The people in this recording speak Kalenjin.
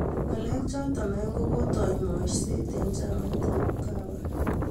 Ng'aleek chootok aeng' ko kotaai maaiyseet eng' chamait ap ukawa